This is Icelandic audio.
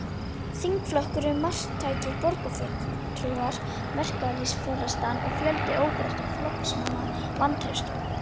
Þingflokkurinn, marktækir borgarfulltrúar, verkalýðsforystan og fjöldi óbreyttra flokksmanna vantreystu honum.